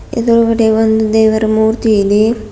ಎದ್ರುಗಡೆ ಒಂದು ದೇವರ ಮೂರ್ತಿ ಇದೆ.